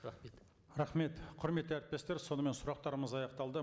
рахмет рахмет құрметті әріптестер сонымен сұрақтарымыз аяқталды